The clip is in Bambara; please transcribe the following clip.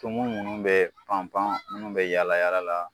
Tumu munnu bɛ panpan munnu bɛ yaala yaala la